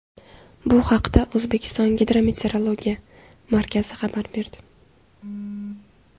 Bu haqda O‘zbekiston gidrometeorologiya markazi xabar berdi.